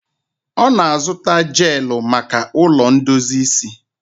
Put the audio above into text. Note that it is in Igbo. Ọ na-azụta jeelụ maka ụlọ ndozi isi ya.